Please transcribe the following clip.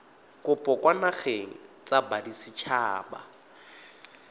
kopo kwa dinageng tsa baditshaba